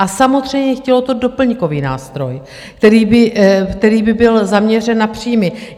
A samozřejmě, chtělo to doplňkový nástroj, který by byl zaměřen na příjmy.